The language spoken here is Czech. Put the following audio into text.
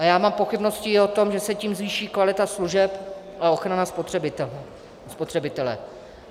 A já mám pochybnosti i o tom, že se tím zvýší kvalita služeb a ochrana spotřebitele.